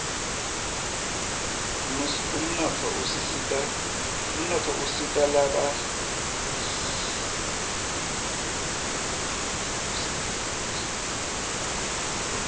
umnotfo usita lasebhtuhle ngenpheshebi